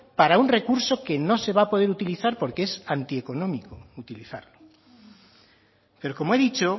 para un recurso que no se va a poder utilizar porque es antieconómico utilizarlo pero como he dicho